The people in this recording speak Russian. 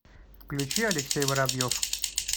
включи алексей воробьев